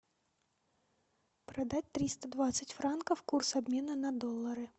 продать триста двадцать франков курс обмена на доллары